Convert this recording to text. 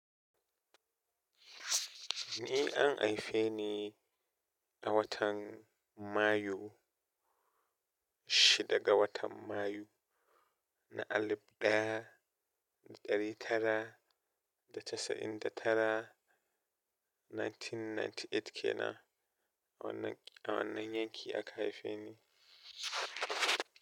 Ni an haife ni a watan Mayu, shidda ga watan Mayu na alib ɗaya da ɗari tara da casa'in da tara 1998 kenan a wannan, a wannan yanki aka haife ni.